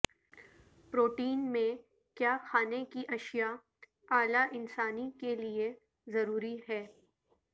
protein میں کیا کھانے کی اشیاء اعلی انسانی کے لیے ضروری ہے